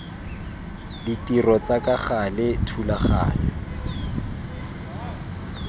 ditiro tsa ka gale thulaganyo